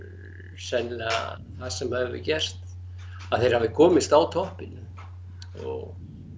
sennilega það sem hefur gerst að þeir hafi komist á toppinn og